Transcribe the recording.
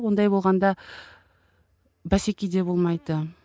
ондай болғанда бәсеке де болмайды